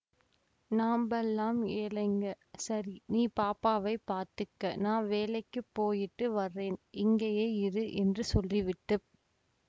நாம்பல்லாம் ஏழைங்கசரி நீ பாப்பாவைப் பாத்துக்க நா வேலைக்கிப் போயிட்டு வர்ரேன்இங்கேயே இரு என்று சொல்லிவிட்டு